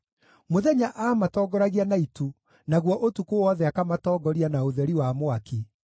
Mũthenya aamatongoragia na itu, naguo ũtukũ wothe akamatongoria na ũtheri wa mwaki.